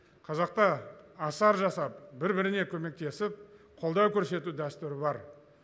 қазақта асар жасап бір біріне көмектесіп қолдау көрсету дәстүрі бар